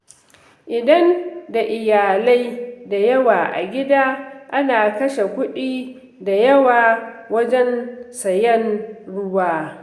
Idan da iyalai da yawa a gida, ana kashe kuɗi da yawa wajen sayen ruwa.